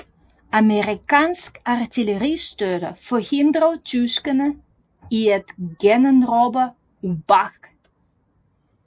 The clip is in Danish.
Amerikansk artilleristøtte forhindrede tyskerne i at generobre Übach